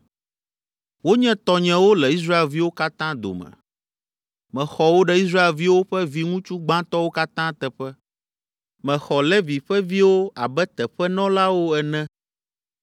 Wonye tɔnyewo le Israelviwo katã dome. Mexɔ wo ɖe Israelviwo ƒe viŋutsu gbãtɔwo katã teƒe; mexɔ Levi ƒe viwo abe teƒenɔlawo ene.